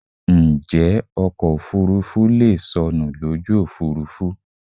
Njẹ́ ọkọ̀ òfurufú leè sọnù lójú òfúrufú?